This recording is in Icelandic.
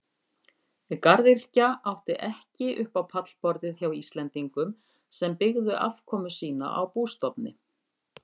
Garðyrkja átti ekki upp á pallborðið hjá Íslendingum sem byggðu afkomu sína á bústofni.